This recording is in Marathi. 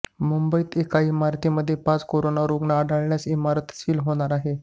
मुंबईत एका इमारतीमध्ये पाच कोरोना रुग्ण आढळल्यास इमारत सील होणार आहे